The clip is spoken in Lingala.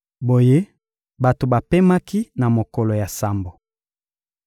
Boye bato bapemaki na mokolo ya sambo.